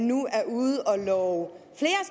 nu er ude at og